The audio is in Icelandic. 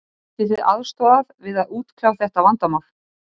Getið þið aðstoðað við að útkljá þetta vandamál?